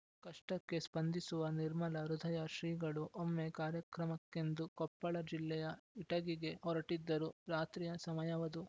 ಕಷ್ಟಕ್ಕೆ ಸ್ಪಂದಿಸುವ ನಿರ್ಮಲ ಹೃದಯ ಶ್ರೀಗಳು ಒಮ್ಮೆ ಕಾರ್ಯಕ್ರಮಕ್ಕೆಂದು ಕೊಪ್ಪಳ ಜಿಲ್ಲೆಯ ಇಟಗಿಗೆ ಹೊರಟಿದ್ದರು ರಾತ್ರಿಯ ಸಮಯವದು